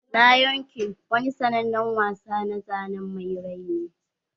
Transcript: Lion king wani sannanen wasa na zanen mai rai ne.